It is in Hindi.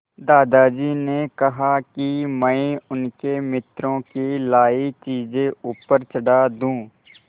दादाजी ने कहा कि मैं उनके मित्रों की लाई चीज़ें ऊपर चढ़ा दूँ